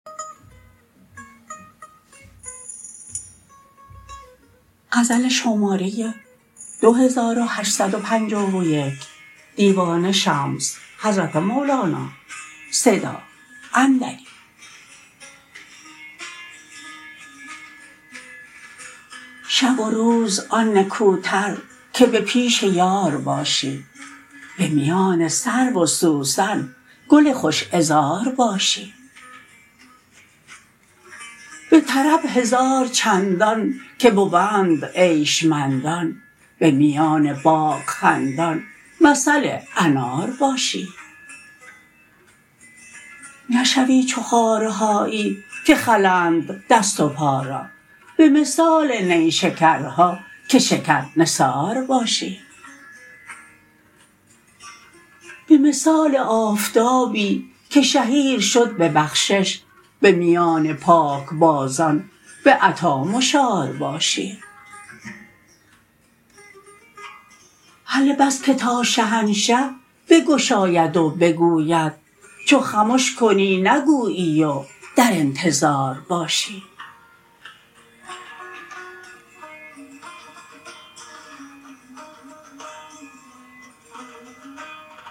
شب و روز آن نکوتر که به پیش یار باشی به میان سرو و سوسن گل خوش عذار باشی به طرب هزار چندان که بوند عیش مندان به میان باغ خندان مثل انار باشی نشوی چو خارهایی که خلند دست و پا را به مثال نیشکرها که شکرنثار باشی به مثال آفتابی که شهیر شد به بخشش به میان پاکبازان به عطا مشار باشی هله بس که تا شهنشه بگشاید و بگوید چو خمش کنی نگویی و در انتظار باشی